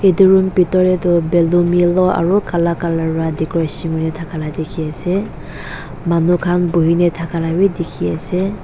edu room bitor tae toh ballon yellow aro kala colour pra decoration kuri thakala dikhiase manu khan buhina thaka la bi dikhiase.